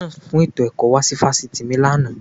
Kọmísọ́nà fún ètò ẹ̀kọ́ wá sí Fásitì mi lánàá.